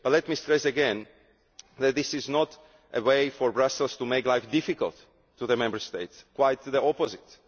But let me stress again that this is not a way for Brussels to make life difficult for Member States quite the opposite!